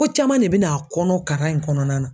Ko caman de bɛ n'a kɔnɔ karan in kɔnɔna na